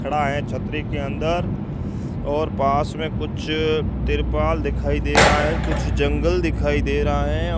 खड़ा है छतरी के अंदर और पास में कुछ तिरपाल दिखाई दे रहा है कुछ जंगल दिखाई दे रहा है।